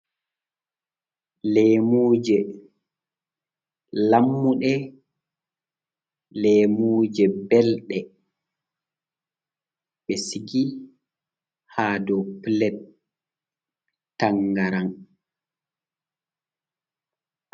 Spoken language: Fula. Lemuje lammuɗe. Leemuje belɗe be sigi ha ɗow pilet tangaram.